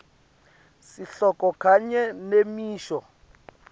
sihloko kanye nemisho